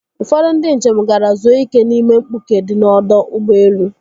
Ụfọdụ ndi njem gara zuo ike n'ime mkpuke di n'ọdọ ụgbọelu.